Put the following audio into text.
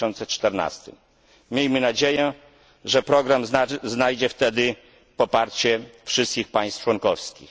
2014. Miejmy nadzieję, że program znajdzie wtedy poparcie wszystkich państw członkowskich.